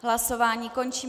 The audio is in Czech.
Hlasování končím.